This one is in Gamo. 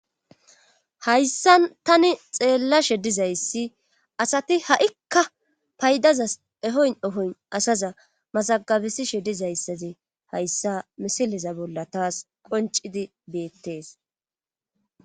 Hayssa tani xeellashe dizayssi asati ha'kka paydaza ehoyn ehoyn asaza masagabesishe dizayssati hayssa misileza bolla taas qoncidi beettees